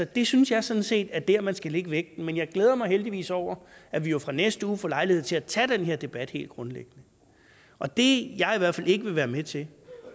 det synes jeg sådan set er der man skal lægge vægten men jeg glæder mig heldigvis over at vi jo fra næste uge får lejlighed til at tage den her debat helt grundlæggende og det jeg i hvert fald vil være med til